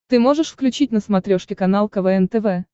ты можешь включить на смотрешке канал квн тв